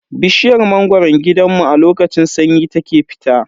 Bishiyar mangoron gidanmu a lokacin sanyi ta ke fita.